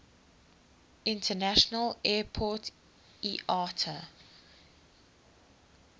international airport iata